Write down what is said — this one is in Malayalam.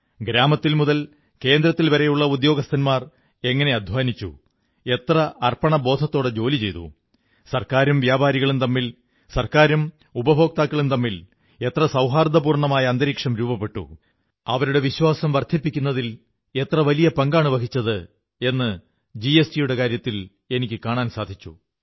ഗ്രാമത്തിൽ മുതൽ കേന്ദ്രത്തിൽ വരെയുള്ള ഉദ്യോഗസ്ഥർ എങ്ങനെ അധ്വാനിച്ചു എത്ര അർപ്പണബോധത്തോടെ ജോലി ചെയ്തു സർക്കാരും വ്യാപാരികളും തമ്മിൽ സർക്കാരും ഉപഭോക്താക്കളും തമ്മിൽ എത്ര സൌഹാർദ്ദപൂർണ്ണമായ അന്തരീക്ഷം രൂപപ്പെട്ടു അവരുടെ വിശ്വാസം വർധിപ്പിക്കുന്നതിൽ എത്ര വലിയ പങ്കാണു വഹിച്ചത് എന്ന് ജിഎസ്ടിയുടെ കാര്യത്തിൽ എനിക്കു കാണാൻ സാധിച്ചു